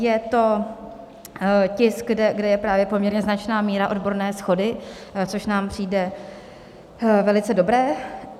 Je to tisk, kde je právě poměrně značná míra odborné shody, což nám přijde velice dobré.